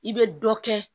I bɛ dɔ kɛ